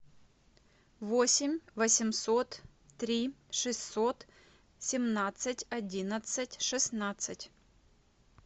восемь восемьсот три шестьсот семнадцать одиннадцать шестнадцать